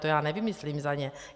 To já nevymyslím za ně.